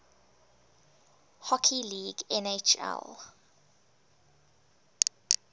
hockey league nhl